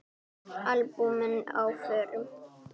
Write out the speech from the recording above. Albúmin á förum.